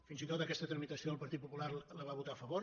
fins i tot aquesta tramitació el partit popular la va votar a favor